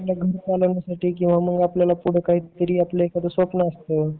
पुढं घरकाम किव्हा मग आपले एखादे स्वप्न असत